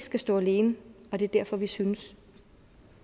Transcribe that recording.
skal stå alene og det er derfor vi synes